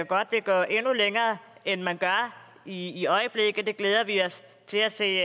godt vil gå endnu længere end man gør i øjeblikket og det glæder vi os til at se